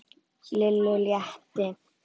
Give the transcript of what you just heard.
Lillu létti.